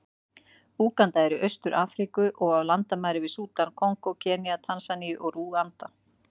Úganda er í Austur-Afríku, og á landamæri að Súdan, Kongó, Kenía, Tansaníu og Rúanda.